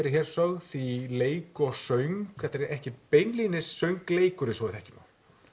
er hér sögð í leik og söng þetta er ekki beinlínis söngleikur eins og við þekkjum hann